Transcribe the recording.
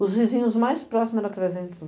Os vizinhos mais próximos eram trezentos